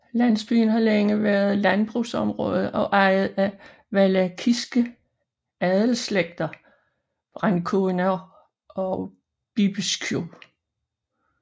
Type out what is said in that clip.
Landsbyen har længe været landbrugsområde og ejet af Valakiske adelsslægter Brâncoveanu og Bibescu